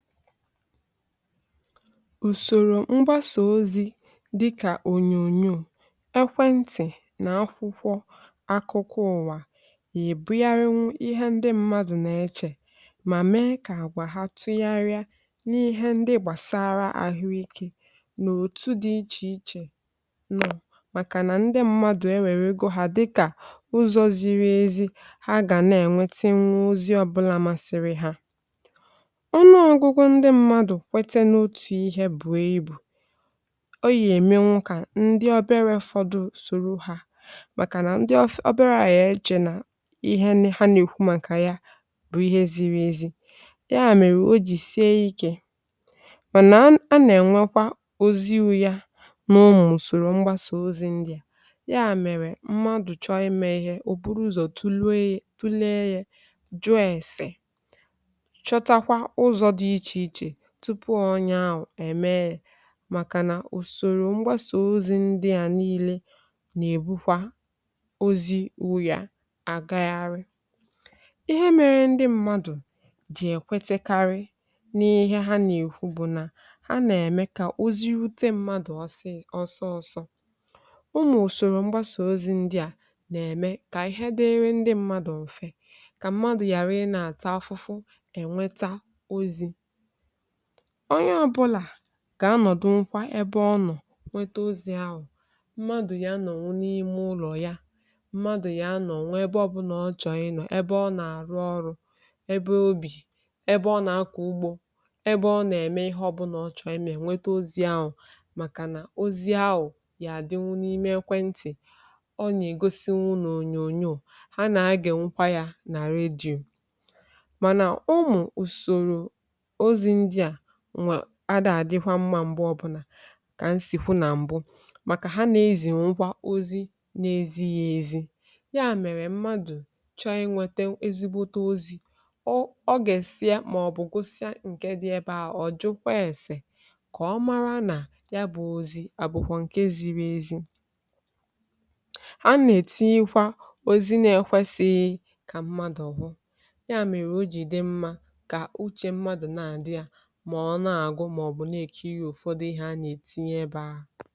ùsòrò mgbasà ozi̇ dịkà ònyònyò ekwentị̀ nà akwụkwọ akụkọ̇ ụ̀wa, yà èbụgharịwụ ihe ndị mmadụ̀ na-echè, mà mee kà àgwà ha tụgharịa n’ihe ndị gbàsara àhụike n’òtù dị ichè ichè nọ̇, màkà nà ndị mmadụ̀ ewère gu ha dịkà ụzọ̇ ziri ezi ha gà nà-ènwete nwunwu ozi ọbụla masịrị ha. ihe bụ̀a ibù ọ yì ème nwụ, kà ndi obere ọ̀fọdụ sòrò ha, màkà nà ndi ofu ọbėrà à yee chè nà ihe ha nà-èkwu màkà ya bụ̀ ihe ziri ezi̇, ya mèrè o jì sie ikė, mànà a nà-ènwekwa oziwu̇ ya nà o mùsòrò mgbasà ozi̇ ndi̇ à, ya mèrè mmadù chọọ imė ihe ò buru ụzọ̀ tụlee yė tụlee yė jùo èse tupu ọnya ahụ̀ ème yȧ. màkànà ùsòrò mgbasà ozi̇ ndị à nii̇lė nà-èbukwa ozi u̇yà, agagharị ihe mere ndị mmadụ̀ jì èkwetekarị n’ihe ha nà-èkwu bụ̀ nà ha nà-ème kà oziute mmadụ̀ ọsọọ̇ ọsọ̇. o nà-ùsòrò mgbasà ozi̇ ndị à nà-ème kà ihe dịrị ndị mmadụ m̀fe, kà mmadụ̀ ghàra ị nà-àtà afụfụ, ènweta ozi̇ onye ọbụlà kà anọ̀dụ nkwa ebe ọ nọ̀, nwete ozi ahụ̀, mmadụ̀ yà nọ̀ wụ n’ime ụlọ̀ yà, mmadụ̀ yà nọ̀ nwee ebe ọ bụ nà ọchọ ịnọ̀ ebe ọ nà-àrụ ọrụ, ebe obì, ebe ọ nà-akọ̀ ugbȯ, ebe ọ nà-ème ihe ọ bụ nà ọchọ eme, nwete ozi ahụ̀, màkà nà ozi ahụ̀ yà àdịwụ n’ime ekwentị̀, ọ nà-ègosi nwụnụ ònyònyò, ha nà a gị nkwa yà nà redio. mànà ụmụ̀ ùsòrò adà-àdịkwa mmȧ, um m̀gbe ọbụnà kà m sì hu nà m̀bụ, màkà ha nà-ezì nkwa ozi n’ezi̇ghi̇ ezi, ya mèrè mmadụ̀ chọọ inwete ezigbote ozi̇ ọ, ọ gà-èsie, màọbụ̀ gosia ǹke dị ebe ahụ̀, ọ̀ jụkwa èsè kà ọ mara nà ya bụ̇ ozi̇ àbụ̀kwà ǹke ziri ezi. ha nà-ètinikwa òzi na-ekwesighi kà mmadụ̀ hu ya, mèrè ojìde mmȧ kà uchè mmadụ̀ na-àdị yȧ, ma ọ na-agụ, ma ọ bụ na-ekiri ụfọdụ ihe a na-etinyeba.